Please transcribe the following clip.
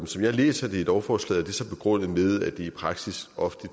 som jeg læser det i lovforslaget er det begrundet med at det i praksis ofte